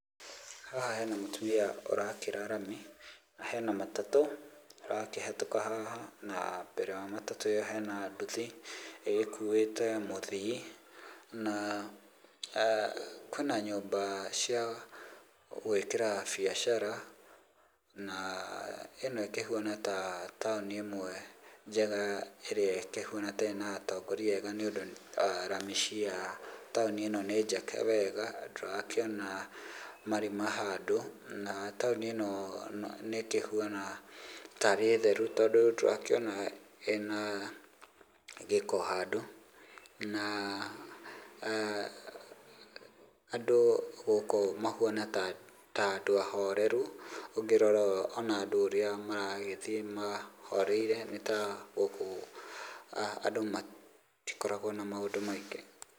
Haha hena mũtumia ũrakĩra rami, na hena matatũ ĩrakĩhetũka haha, na mbere ya matatũ ĩyo hena nduthi, ĩgĩkuĩte mũthii, na kwĩna nyũmba cia gwĩkĩra biacara na ĩno ĩkĩhuana ta taũni ĩmwe njega ĩrĩa ĩkĩhuana ta ĩna atongoria ega nĩũndũ rami cia taũni ĩno nĩ njake wega, ndũrakĩona marima handũ, na taũni ĩno nĩ ĩkĩhuana tarĩ theru tondũ ndũrakĩona ĩna gĩko handũ, na andũ gũkũ mahuana ta andũ ahoreru ũngĩrora ona andũ ũrĩa maragĩthiĩ mahoreire nĩ ta gũkũ andũ matikoragwo na maũndũ maingĩ.